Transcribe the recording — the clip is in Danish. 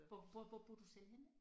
Hvor hvor hvor bor du selv henne?